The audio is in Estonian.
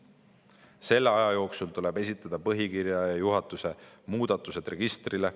Selle aja jooksul tuleb esitada põhikirja ja juhatuse muudatused registrile.